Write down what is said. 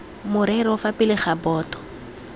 morero fa pele ga boto